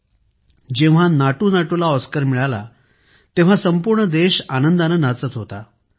मित्रांनो जेव्हा नाटुनाटु ला ऑस्कर मिळाला तेव्हा संपूर्ण देश आनंदाने नाचत होता